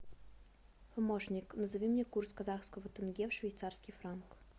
помощник назови мне курс казахского тенге в швейцарский франк